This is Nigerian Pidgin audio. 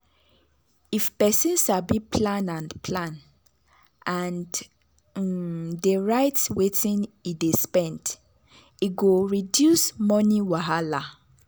if person sabi plan and plan and um dey write wetin e dey spend e go reduce money wahala.